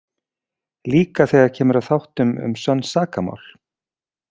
Líka þegar kemur að þáttum um sönn sakamál.